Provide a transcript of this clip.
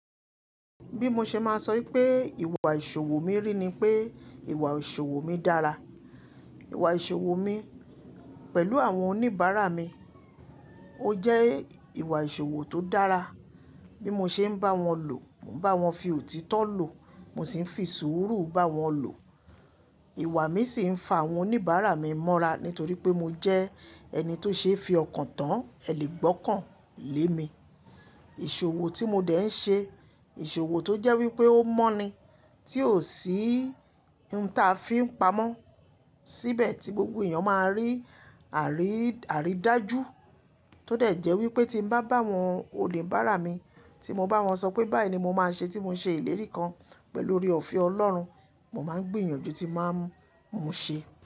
Bí mo ṣe máa sọ wípé ìwà ìṣòwò mi rí ni pé ìwà ìṣòwò mi dára. Ìwà ìṣòwò mi pẹ̀lú àwọn oníbàárà mi, ó jẹ́ ìwà ìṣòwò tó dára. Bí mo ṣe ń bá wọn lò, mò ń bá wọn fi òtítọ́ lò, mò sì ń fi sùúrù bá wọn lò. Ìwà mi sì ń fa àwọn oníbàárà mi mọ́ra nítorí pé mo jẹ ẹni tó ṣe é fi ọkàn tán ẹ́ lè gbọ́kàn lé mi. Ìṣòwò tí mo dẹ̀ ń ṣe, ìṣòwò tó jẹ́ wípé ó mọ́ni tí ò sí n ta fi ń pamọ́, síbẹ̀ tí gbogbo èèyàn máa rí àrìdájú tó dẹ̀ jẹ́ wípé tí n bá bá àwọn oníbàárà mi, tí mo bá wọn sọ pé báyìí ni mo máa ṣe tí mo ṣe ìlérí kan pẹ̀lú oore ọ̀fẹ́ Ọlọ́run, mo máa gbìyànjú tí màá mú un ṣe.